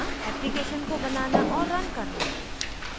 application को बनाना और रन करना